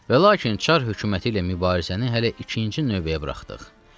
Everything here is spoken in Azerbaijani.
Və lakin Çar hökuməti ilə mübarizəni hələ ikinci növbəyə buraxdıq.